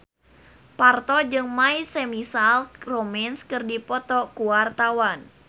Parto jeung My Chemical Romance keur dipoto ku wartawan